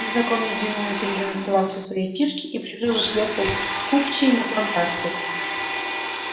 незнакомец двинул на середину стола все свои фишки и прикрыл их сверху купчей на плантацию